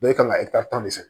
i kan ka tan ne fɛ